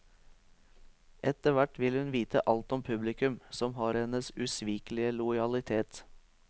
Etterhvert vil hun vite alt om publikum, som har hennes usvikelige lojalitet.